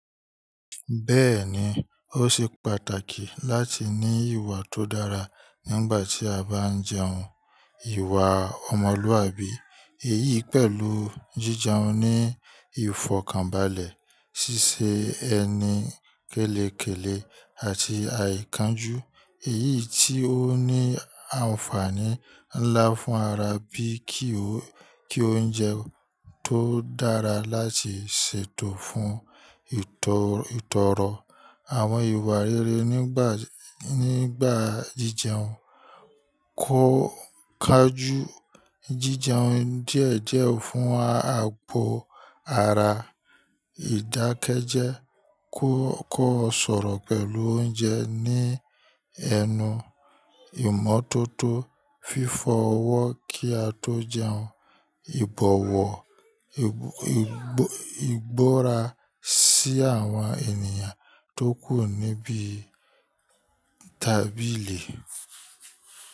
Bẹ́ẹ̀ni, ó ṣe pàtàkì láti ní ìwà tó dára nígbà tí a bá ń jẹun. Ìwà ọmọlúwàbí èyí pẹ̀lú jíjẹun ní ìfọ̀kànbalẹ̀, ṣíṣe ẹni kélekèlé àti àìkáńjú. Èyí tí ó ní àǹfààní ńlá fún ara bí kí ó jẹun tó dára láti ṣètò fún ìtọrọ. Àwọn ìwà rere nígbà jíjẹun kọ ká jù jíjẹun díẹ̀díẹ̀ fún àpò ara, ìdákẹ́jẹ́, kó ọ̀ṣọ̀rọ̀ pẹ̀lú oúnjẹ ní ẹnu, ìmọ́tótó, fífọ ọwọ́ kí a tó jẹun, ìbọ̀wọ̀ ìgbóra sí àwọn ènìyàn tó kù níbí tábìlì.